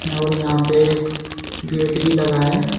और यहां पे एक गेट ही लगा है।